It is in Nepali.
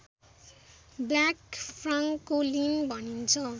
ब्ल्याक फ्रान्कोलिन भनिन्छ